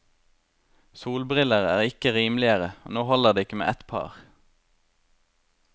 Solbriller er ikke rimeligere, og nå holder det ikke med ett par.